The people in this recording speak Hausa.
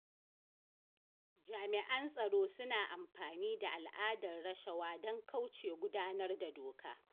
Jami'an tsaro suna amfani da al'adar rashawa don kauce wa gudanar da doka.